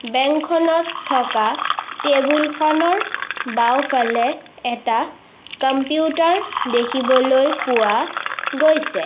Bank খনত থকা table খনৰ বাওঁফালে এটা কম্পিউটাৰ দেখিবলৈ পোৱা গৈছে।